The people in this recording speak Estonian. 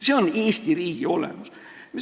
See on Eesti riigi olemus.